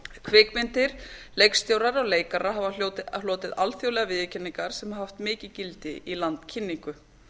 kvikmyndir leikstjórar og leikarar hafa notið alþjóðlegrar viðurkenningar sem hafa haft mikið gildi í landkynningu